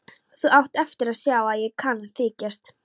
Þú átt eftir að sjá að ég kann að þykjast.